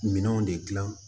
Minɛnw de dilan